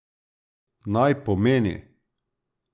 Naj pomeni.